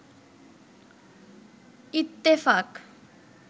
Ittefaq